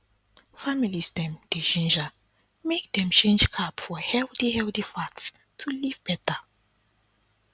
families dem dey ginger make dem change carb for healthy healthy fat to live better